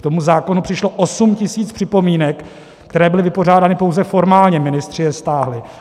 K tomu zákonu přišlo 8 tisíc připomínek, které byly vypořádány pouze formálně, ministři je stáhli.